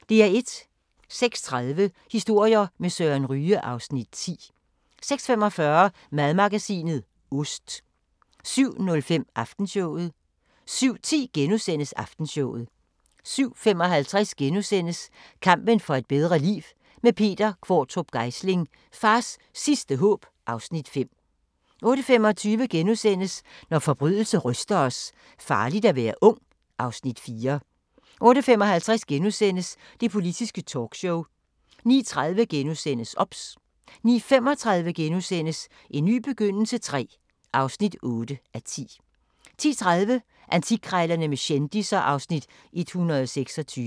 06:30: Historier med Søren Ryge (Afs. 10) 06:45: Madmagasinet – Ost 07:05: Aftenshowet 07:10: Aftenshowet * 07:55: Kampen for et bedre liv – med Peter Qvortrup Geisling: Fars sidste håb (Afs. 5)* 08:25: Når forbrydelse ryster os: Farligt at være ung (Afs. 4)* 08:55: Det Politiske Talkshow * 09:30: OBS * 09:35: En ny begyndelse III (8:10)* 10:30: Antikkrejlerne med kendisser (Afs. 126)